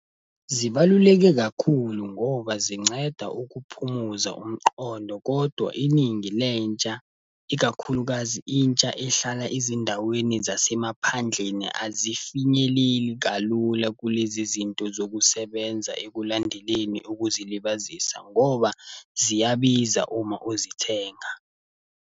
Zibaluleke kakhulu ngoba zinceda ukuphumuza umqondo kodwa iningi lentsha, ikakhulukazi intsha ehlala ezindaweni zasemaphandleni, azifinyeleli kalula kulezi zinto zokusebenza ekulandeleni ukuzilibazisa ngoba ziyabiza uma uzithenga.